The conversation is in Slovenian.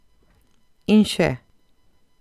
In še.